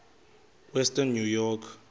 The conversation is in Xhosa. western new york